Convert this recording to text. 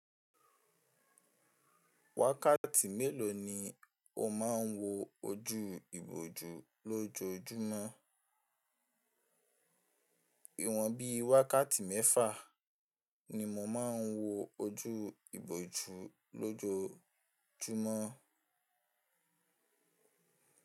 Wákàtí mélòó ni o máa ń wo ojú ìbòjú lójoójúmọ́? Ìwọ̀n bí i wákàtí mẹ́fà ni mo máa ń wo ojú ìbòjú lójoójúmọ́.